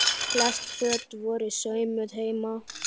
Flest föt voru saumuð heima.